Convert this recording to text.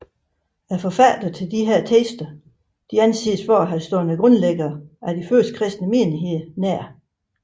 Forfatterne til disse tekster anses for at have stået grundlæggerne af de første kristne menigheder nær